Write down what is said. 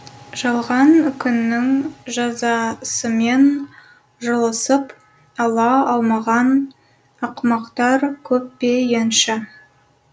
жалған күннің жазасымен жұлысып ала алмаған ақымақтар көп пе енші